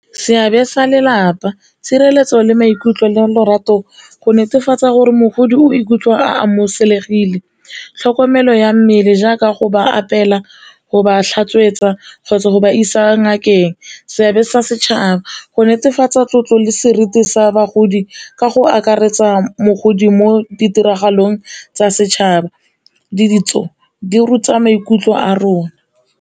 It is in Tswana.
Seabe sa lelapa, tshireletso le maikutlo le lorato go netefatsa gore mogodi o ikutlwa a amogelesegile, tlhokomelo ya mmele jaaka go ba apeela, go ba tlhatswetsa kgotsa go ba isa ngakeng. Seabe sa setšhaba go netefatsa tlotlo le seriti sa bagodi ka go akaretsa mogodi mo ditiragalong tsa setšhaba le ditso di ruta maikutlo a rona.